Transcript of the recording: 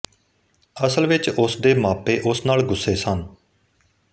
ਅਸਲ ਵਿਚ ਉਸ ਦੇ ਮਾਪੇ ਉਸ ਨਾਲ ਗੁੱਸੇ ਸਨ